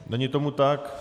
Není tomu tak.